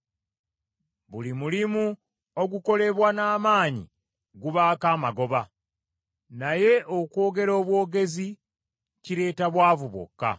Buli mulimu ogukolebwa n’amaanyi gubaako amagoba, naye okwogera obwogezi kireeta bwavu bwokka.